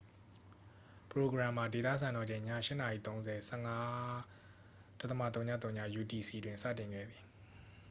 ပရိုဂရမ်မှာ ဒေသစံတော်ချိန် ည ၈:၃၀ ၁၅.၀၀ utc တွင် စတင်ခဲ့သည်။